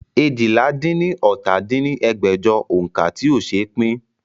eéjìlá-dín-ní-ọ́ta dín ní ẹgbẹ́jọ òǹkà tí ó ṣe pín